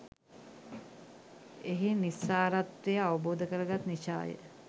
එහි නිස්සාරත්වය අවබෝධ කරගත් නිසාය.